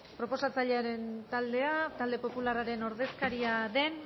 proposatzailearen taldea talde popularraren ordezkaria den